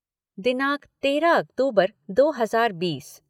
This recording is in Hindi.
दिनांक तेरह अक्तूबर दो हज़ार बीस